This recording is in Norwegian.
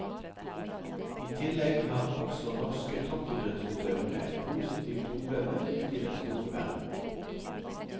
I tillegg har også norske toppidrettsutøvere et positivt omdømme ute i den store verden.